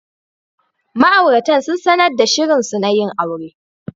Ma'auratan sun sanar da shirinsu na yin aure.